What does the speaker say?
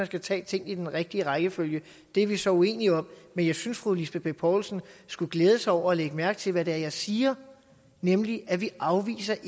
skal tage tingene i den rigtige rækkefølge det er vi så uenige om men jeg synes fru lisbeth bech poulsen skulle glæde sig over og lægge mærke til hvad det er jeg siger nemlig at vi ikke afviser